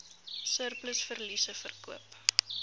surplus verliese verkoop